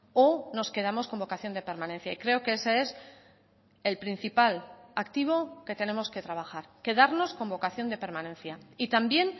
o nos quedamos con vocación de permanencia y creo que ese es el principal activo que tenemos que trabajar quedarnos con vocación de permanencia y también